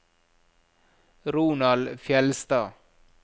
Ronald Fjeldstad